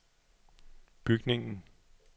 bygningen